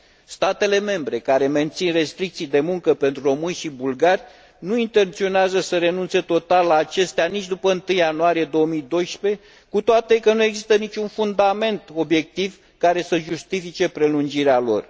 Statele membre care mențin restricții de muncă pentru români și bulgari nu intenționează să renunțe total la acestea nici după 1 ianuarie 2012, cu toate că nu există nici un fundament obiectiv care să justifice prelungirea lor.